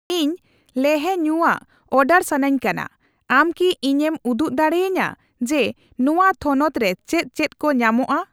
ᱤᱧ ᱞᱮᱦᱮ ᱧᱩᱭᱟᱜ ᱚᱰᱟᱨ ᱥᱟᱱᱟᱧ ᱠᱟᱱᱟ, ᱟᱢ ᱠᱤ ᱤᱧᱮᱢ ᱩᱫᱩᱜ ᱫᱟᱲᱮ ᱟᱹᱧᱟ ᱡᱮ ᱱᱚᱣᱟ ᱛᱷᱚᱱᱚᱛ ᱨᱮ ᱪᱮᱫ ᱪᱮᱫ ᱠᱚ ᱧᱟᱢᱚᱜᱼᱟ ?